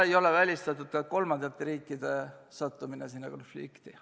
Ei ole välistatud ka kolmandate riikide sattumine sellesse konflikti.